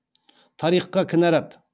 тарихқа кінәрат